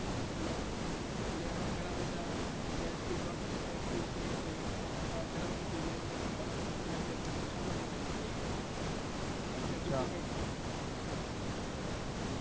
એટલે એમાં ઘણા બધા એચ પી ડોટ CANBICE ને એવું ઘણા બધા language નું સમન્વય હોય છે એમને બીજું કઈ